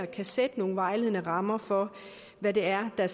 kan sætte nogle vejledende rammer for hvad det er der